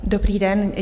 Dobrý den.